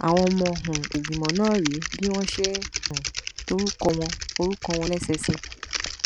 àwọn ọmọ um ìgbìmọ náà rèé bí wọn ṣe um to orúkọ wọn orúkọ wọn lẹsẹẹsẹ